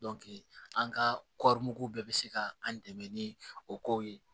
an ka bɛɛ bɛ se ka an dɛmɛ ni o kow ye